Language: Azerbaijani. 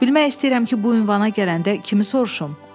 Bilmək istəyirəm ki, bu ünvana gələndə kimi soruşum?